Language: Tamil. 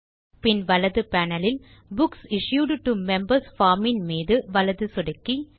பின் வலது பேனல் இல் books issued to members form இன் மீது வலது சொடுக்கி